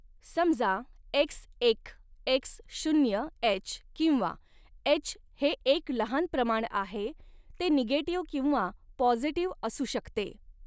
समजा एक्सएकएक्सशून्य एच किंवा एच हे एक लहान प्रमाण आहे ते निगेटिव किंवा पॉज़िटिव असू शकते.